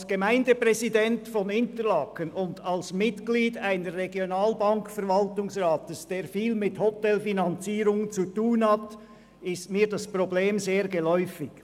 Als Gemeindepräsident von Interlaken und als Mitglied eines Regionalbank-Verwaltungsrats, der viel mit Hotelfinanzierungen zu tun hat, ist mir das Problem sehr geläufig.